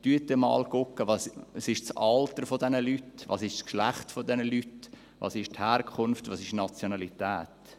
Schauen Sie sich einmal an: Was ist das Alter diese Leute, was ist das Geschlecht dieser Leute, was ist die Herkunft, was die Nationalität?